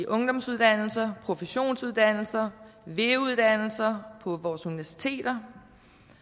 ungdomsuddannelser professionsuddannelser ve uddannelser og på vores universiteter